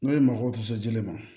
N'o ye mako tɛ se jɛnɛ ma